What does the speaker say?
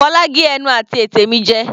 Fola gé ẹnu àti ètè mi jẹ.